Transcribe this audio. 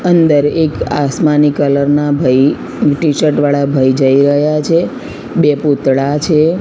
અંદર એક આસમાની કલર ના ભઈ ટી_શર્ટ વાળા ભઈ જઇ રહ્યા છે બે પૂતળા છે.